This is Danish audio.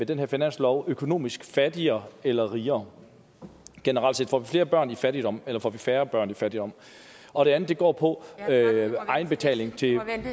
den her finanslov økonomisk fattigere eller rigere generelt set får vi flere børn i fattigdom eller får vi færre børn i fattigdom og det andet går på egenbetaling